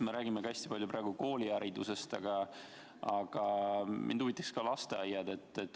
Me räägime praegu hästi palju kooliharidusest, aga mind huvitaksid ka lasteaiad.